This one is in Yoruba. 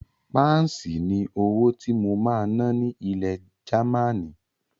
Páǹsì ni owó tí mo máa ná ní ilẹ̀ Gamaní.